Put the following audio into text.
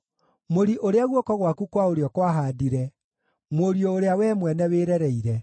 mũri ũrĩa guoko gwaku kwa ũrĩo kwahaandire, mũriũ ũrĩa wee mwene wĩrereire.